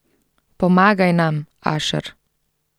Pomagaj nam, Ašer.